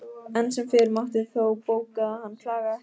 Enn sem fyrr mátti þó bóka að hann klagaði ekki.